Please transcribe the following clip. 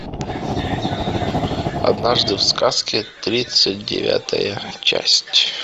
однажды в сказке тридцать девятая часть